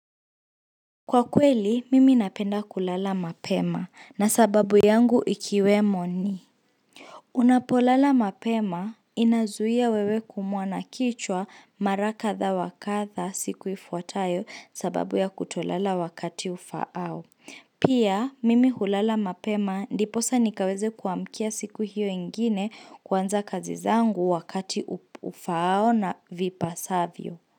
Kwa kweli, mimi napenda kulala mapema na sababu yangu ikiwemo ni Unapolala mapema inazuhia wewe kuumwa na kichwa mara katha wa katha siku ifuatayo sababu ya kutolala wakati ufaao Pia, mimi hulala mapema ndiposa nikaweze kuamkia siku hiyo ingine kwanza kazi zangu wakati ufaao na vipasavyo.